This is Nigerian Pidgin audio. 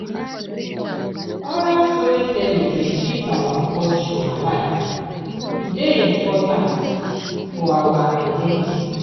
Oral storytelling dey keep our culture alive, e dey important for our identity.